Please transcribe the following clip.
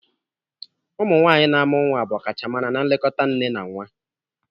Ụmụ nwaanyị na-amụ nwa bụ ọkachamara na nlekọta nne na nwa.